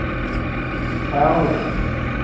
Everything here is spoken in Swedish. Ärla